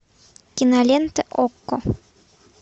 кинолента окко